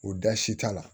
O da si t'a la